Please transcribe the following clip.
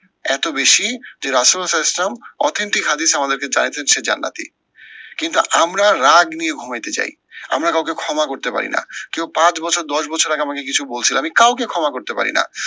এত বেশি যে ইসলাম authentic হাদিস আমাদেরকে জানাইতেছে যে জান্নাতি। কিন্তু আমরা রাগ নিয়ে ঘুমাইতে যাই। আমরা কাউকে ক্ষমা করতে পারি না। কেউ পাঁচ বছর দশ বছর আগে আমাকে কিছু বলছিলো আমি কাউকে ক্ষমা করতে পারি না।